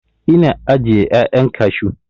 Ina ajiye 'ya'yan kashu.